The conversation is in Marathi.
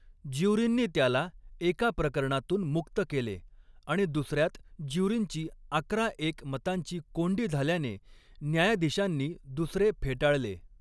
ज्यूरींनी त्याला एका प्रकरणातून मुक्त केले आणि दुसऱ्यात ज्यूरींची अकरा एक मतांची कोंडी झाल्याने न्यायाधिशांनी दुसरे फेटाळले.